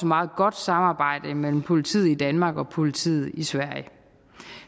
meget godt samarbejde mellem politiet i danmark og politiet i sverige